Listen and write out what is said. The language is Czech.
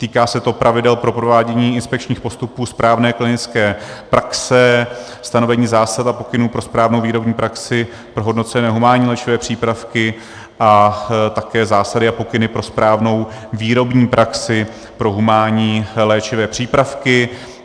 Týká se to pravidel pro provádění inspekčních postupů správné klinické praxe, stanovení zásad a pokynů pro správnou výrobní praxi pro hodnocené humánní léčivé přípravky a také zásady a pokyny pro správnou výrobní praxi pro humánní léčivé přípravky.